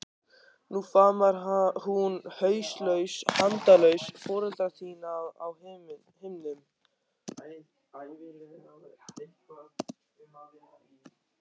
Nú faðmar hún hauslaus handalausa foreldra þína á himnum.